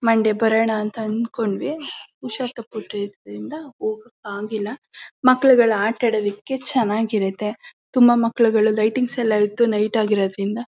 Monday ಬರಣ ಅಂತ ಅನ್ಕೊಂಡ್ವಿ ಹುಷಾರ್ ತಪ್ಪುಟ್ದ್ರಿಂದ ಹೋಗ್ಯಾಕ್ ಆಗಿಲ್ಲ ಮಕ್ಕಳಿಗೆಳ ಆಟ್ಟ ಆಡದಕೆ ಚನ್ನಾಗಿರುಥೆ ತುಂಬಾ ಮಕ್ಕಲಗಳು ಲೈಟಿಂಗ್ಸ್ ಯಲಾಯಿತು ನೈಟ್ ಆಗಿದ ರಿಂದ .